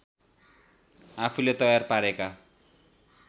आफूले तयार पारेका